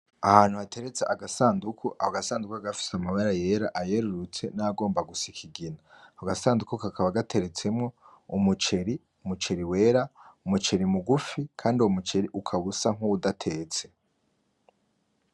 Ahantu hateretse agasandugu. Ako gasandugu kakaba gafise amabara yera, ayerurutse n'ayagomba gusa ikigina. Ako gasandugu kakaba gateretsemwo umuceri, umuceri wera, umuceri mugufi, Kandi uwo muceri ukaba usa nk'uwudatetse.